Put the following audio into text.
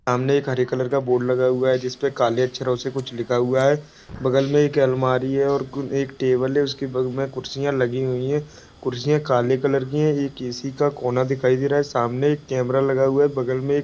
सामने एक हरे कलर का बोर्ड लगा हुआ है जिसपे काले अक्षरसे कुछ लिखा हुआ है बगल मे एक अलमारी है और एक टेबल है उसके गोल में कुर्सियां लगी हुए है कुर्सियां काले कलर की है एक एसी का कोना दिखाइ दे रहा है सामने एक केमरा लगा हुआ है बगल में --